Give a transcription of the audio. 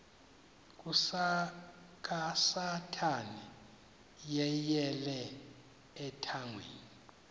kasathana yeyele ethangeni